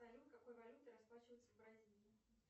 салют какой валютой расплачиваются в бразилии